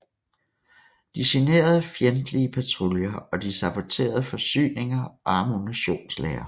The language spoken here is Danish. De generede fjendtlige patruljer og de saboterede forsyninger og ammunitionslagre